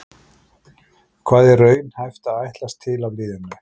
Hvað er raunhæft að ætlast til af liðinu?